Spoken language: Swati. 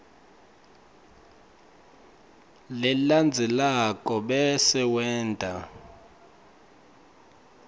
lelandzelako bese wenta